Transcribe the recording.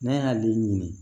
Ne y'ale ɲini